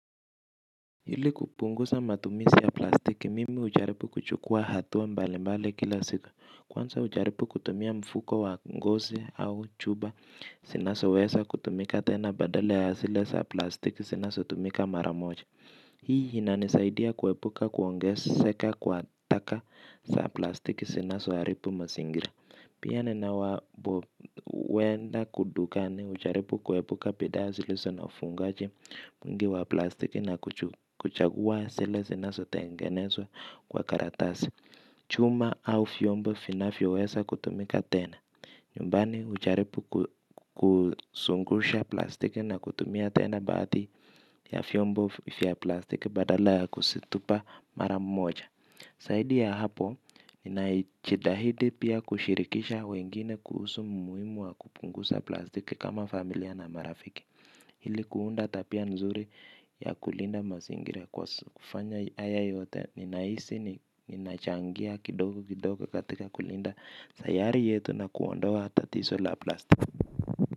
Ili kupunguza matumizi ya plastiki, mimi hujaribu kuchukua hatua mbalimbali kila siku. Kwansmza hujaribu kutumia mfuko wa ngozi au chupa, zinazoweza kutumika tena badala ya zile sa plastiki zinazotumika maramoja. Hii inanisaidia kuepuka kuongezeka kwa taka sa plastiki zinazoaribu mazingira. Pia ninapoenda dukani hujaripu kuebuka bidhaa zilizo na ufungaji mwingi wa plastiki na kuchagua zile zinazotengenezwa kwa karatasi. Chuma au vyombo vinayoweza kutumika tena. Nyumbani hujribu kuzungusha plastiki na kutumia tena baadhi ya vyombo vya plastiki badala kuzitupa mara moja. Zaidi ya hapo, ninajitahidi pia kushirikisha wengine kuhusu umuhimu wa kupunguza plastiki kama familia na marafiki. Ili kuunda tabia nzuri ya kulinda mazingira kwa kufanya haya yote, ninahisi, ninachangia kidogo kidogo katika kulinda sayari yetu na kuondoa tatiso la plastiki.